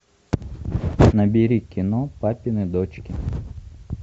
набери кино папины дочки